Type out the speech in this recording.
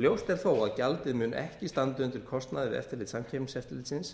ljóst er þó að gjaldið mun ekki standa undir kostnaði við eftirlit samkeppniseftirlitsins